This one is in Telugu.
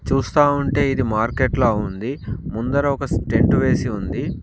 చూస్తా ఉంటే ఇది మార్కెట్ లా ఉంది ముందర ఒక స్టెంటు వేసి ఉంది.